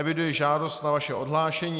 Eviduji žádost o vaše ohlášení.